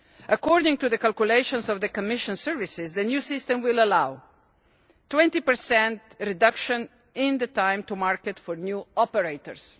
According to the calculations of the Commission services, the new system will allow a 20 reduction in the time to market for new operators